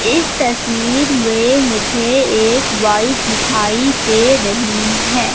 इस तस्वीर में मुझे एक वाइफ दिखाई दे रहीं हैं।